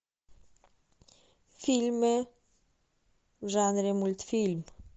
фильмы в жанре мультфильм